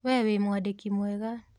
We wĩ mwandĩki mwega.